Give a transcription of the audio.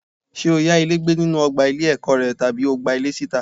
Ṣé o yá ilé gbé nínú ọgbà ilé-ẹ̀kọ́ rẹ tàbí o gba ilé síta?